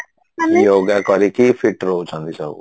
yoga କରିକି feet ରାହୁଚନ୍ତି ସବୁ